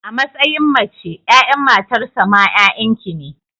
A matsayin mace, 'ya'yan matarsa ma 'ya'yan ki ne.